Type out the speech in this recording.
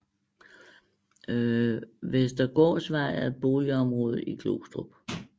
Vestergårdsvej er et boligområde i Glostrup